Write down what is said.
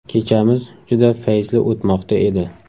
Kechamiz juda fayzli o‘tmoqda edi.